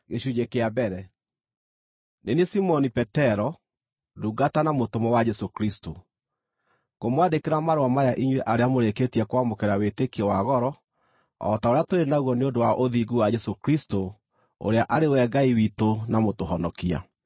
Nĩ niĩ Simoni Petero, ndungata na mũtũmwo wa Jesũ Kristũ, Ngũmwandĩkĩra marũa maya inyuĩ arĩa mũrĩkĩtie kwamũkĩra wĩtĩkio wa goro o ta ũrĩa tũrĩ naguo nĩ ũndũ wa ũthingu wa Jesũ Kristũ, ũrĩa arĩ we Ngai witũ na Mũtũhonokia: